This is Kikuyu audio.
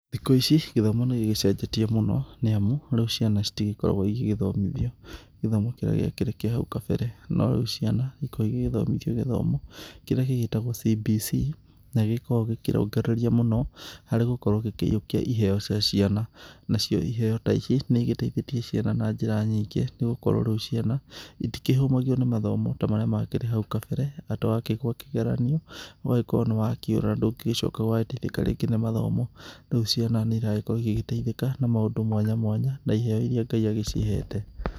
Thikũ ici gĩthomo nĩgĩgĩcenjetie mũno, nĩamu rĩu ciana citĩkoragwo igĩthomithio gĩthomo kĩrĩa gĩakĩrĩ kĩa hau kabere, no rĩu ciana ikoragwo igĩgĩthoma gĩthomo kĩrĩa gĩgĩtagwo CBC, na gĩkoragwo gĩkĩrongereria mũno harĩ gũkorwo gĩkĩiũkia iheo cia ciana, nacio iheo ta ici nĩigĩteithĩtie ciana na njĩra nyingĩ, nĩ gũkorwo rĩu ciana itĩkĩhũmagio nĩ mathomo ta marĩa makĩrĩ hau kabere, atĩ wakĩgũa kĩgeranio ũgagĩkorwo nĩwakĩũra na ndũngĩgĩcoka gũgagĩteithĩka rĩngĩ nĩ mathomo, rĩu ciana nĩirakorwo igĩgĩteithĩka na maũndũ mwanya mwanya na iheo iria Ngai agĩciĩhete.